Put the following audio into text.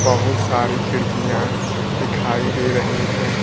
बहोत सारी खिड़कियां दिखाई दे रही हैं।